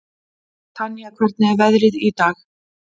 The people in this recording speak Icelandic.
Tanía, hvernig er veðrið í dag?